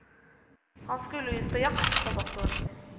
Han skulle ut på jakt, sa doktoren.